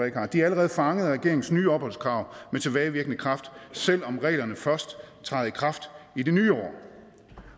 ikke har de er allerede fanget af regeringens nye opholdskrav med tilbagevirkende kraft selv om reglerne først træder i kraft i det nye år